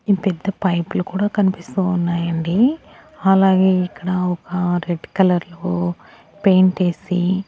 ఈ పెద్ద పైప్ లు కూడా కనిపిస్తూ ఉన్నాయండి అలాగే ఇక్కడ ఒక రెడ్ కలర్ లో పెయింట్ ఏసి--